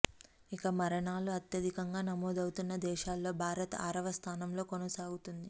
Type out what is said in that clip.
ఇక మరణాలు అత్యధికంగా నమోదు అవుతున్న దేశాల్లో భారత్ ఆరవ స్థానంలో కొనసాగుతోంది